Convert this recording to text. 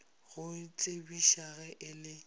go tsebiša ge e le